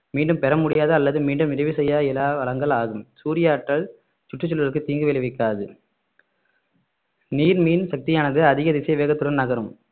மீண்டும் பெற முடியாத அல்லது மீண்டும் நிறைவு செய்ய இயலா வளங்கள் ஆகும் சூரிய ஆற்றல் சுற்றுச்சூழலுக்கு தீங்கு விளைவிக்காது நீர் மின் சக்தியானது அதிக திசை வேகத்துடன் நகரும்